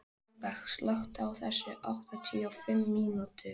Lindberg, slökktu á þessu eftir áttatíu og fimm mínútur.